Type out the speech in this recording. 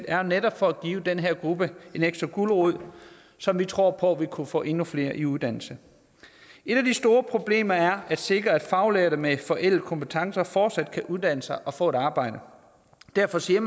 var netop for at give den her gruppe en ekstra gulerod som vi tror på vil kunne få endnu flere i uddannelse et af de store problemer er at sikre at faglærte med forældede kompetencer fortsat kan uddanne sig og få et arbejde derfor siger